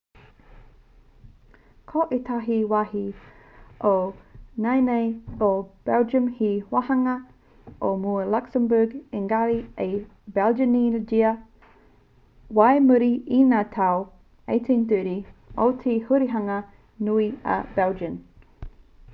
ko ētahi wāhi o nāianei o belgium he wāhanga o mua o luxembourg ēngari i belgianngia whai muri i ngā tau 1830 o te hurihanga nui a belgian